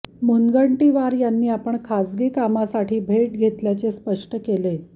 मुनगंटीवार यांनी आपण खासगी कामासाठी ही भेट घेतल्याचे स्पष्ट केले